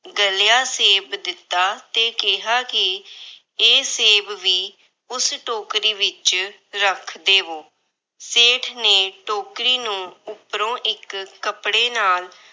ਗਲਿਆ ਸੇਬ ਦਿੱਤਾ ਤੇ ਕਿਹਾ ਕਿ ਇਹ ਸੇਬ ਵੀ ਉਸ ਟੋਕਰੀ ਵਿੱਚ ਰੱਖ ਦੇਵੋ। ਸੇਠ ਨੇ ਟੋਕਰੀ ਨੂੰ ਉਪਰੋਂ ਇੱਕ ਕੱਪੜੇ ਨਾਲ